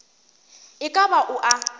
e ka ba o a